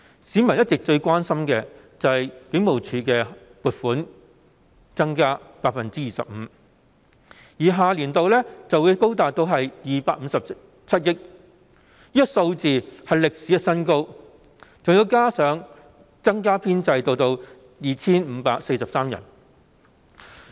市民一直最關心的是警務處增加了 25% 撥款，下年度開支將會高達257億元，是歷史新高，人手編制還會增加 2,543 人。